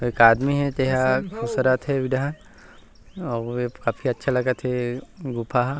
एक आदमी हे तेहा खुसरत हे उहि डाहन अऊ ए काफी अच्छा लगत हे गुफा ह--